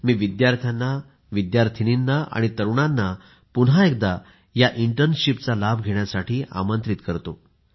मी विद्यार्थ्यांना विद्यार्थिनींना आणि तरुणांना पुन्हा एकदा या इंटर्नशिपचा लाभ घेण्यासाठी आमंत्रित करतो